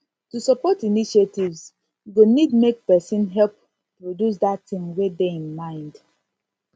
to support initiatives go need make persin help produce that thing wey de im mind